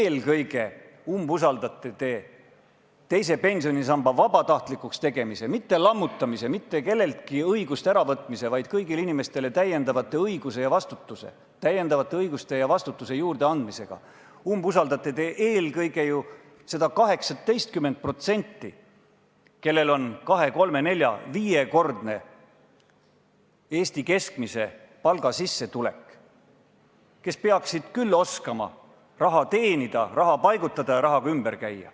Eelkõige umbusaldate te teise pensionisamba vabatahtlikuks tegemisega – mitte lammutamisega, mitte kelleltki õiguste äravõtmisega, vaid kõigile inimestele täiendavate õiguste ja vastutuse juurdeandmisega – eelkõige ju seda 18%, kelle sissetulek on võrdne kahe-kolme-nelja-viiekordse Eesti keskmise palgaga ning kes peaksid küll oskama raha teenida, seda paigutada ja sellega ümber käia.